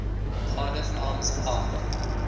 cardiff arms park